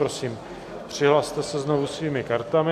Prosím, přihlaste se znovu svými kartami.